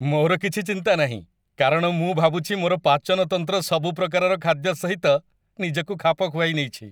ମୋର କିଛି ଚିନ୍ତା ନାହିଁ, କାରଣ ମୁଁ ଭାବୁଛି ମୋର ପାଚନ ତନ୍ତ୍ର ସବୁ ପ୍ରକାରର ଖାଦ୍ୟ ସହିତ ନିଜକୁ ଖାପ ଖୁଆଇନେଇଛି!